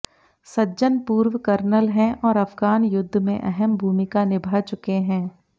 सज्जन पूर्व कर्नल हैं और अफगान युद्घ में अहम भूमिका निभा चुके हैं